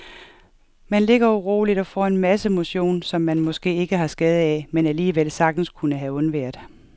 Man ligger uroligt og får en masse motion, som man måske ikke har skade af, men alligevel sagtens kunne have undværet.